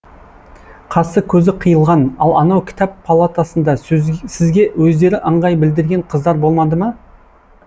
қасы көзі қиылған ал анау кітап палатасында сізге өздері ыңғай білдірген қыздар болмады ма